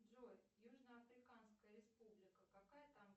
джой южноафриканская республика какая там